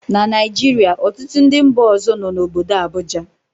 na Naijiria, ọtụtụ ndị mba ọzọ nọ n'obodo Abuja